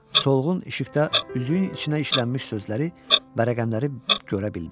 Solğun işıqda üzüyün içinə işlənmiş sözləri hərfləri görə bildi.